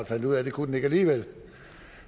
fandt ud af at det kunne den ikke alligevel